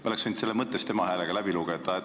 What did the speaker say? Me oleks võinud seda mõttes tema häälega lugeda.